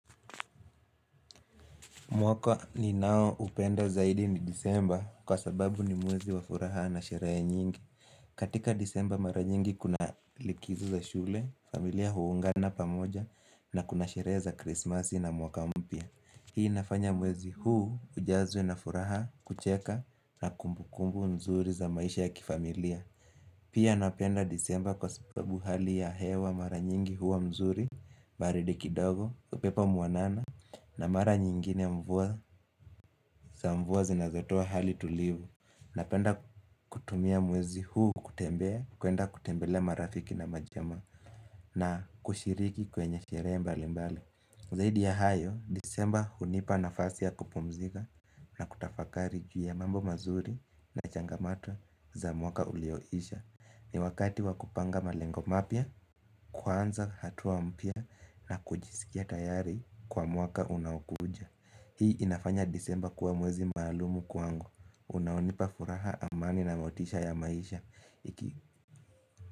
Mwaka ninao upenda zaidi ni disemba kwa sababu ni mwezi wa furaha na sherehe nyingi. Katika disemba mara nyingi kuna likizo za shule, familia huungana pamoja na kuna sherehe za Krismasi na mwaka mpya. Hii inafanya mwezi huu ujazwe na furaha kucheka na kumbu kumbu nzuri za maisha ya kifamilia. Pia napenda disemba kwa sababu hali ya hewa mara nyingi huwa mzuri, baridi kidogo, upepo muanana na mara nyingine mvua za mvua zinazotoa hali tulivu. Napenda kutumia mwezi huu kutembea, kuenda kutembelea marafiki na majamaa na kushiriki kwenye sherehe mbali mbali. Zaidi ya hayo, disemba hunipa na fasi ya kupumzika na kutafakari pia mambo mazuri na changamato za mwaka ulioisha. Ni wakati wakupanga malengo mapya, kuanza hatua mpya na kujisikia tayari kwa mwaka unaokuja. Hii inafanya disemba kuwa mwezi maalumu kwangu. Unaonipa furaha amani na maotisha ya maisha.